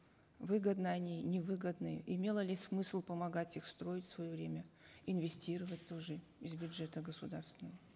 выгодны они невыгодны имело ли смысл помогать их строить в свое время инвестировать тоже из бюджета государственного